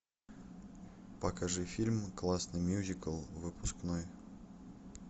покажи фильм классный мюзикл выпускной